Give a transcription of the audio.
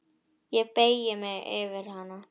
Ég beygi mig yfir hana.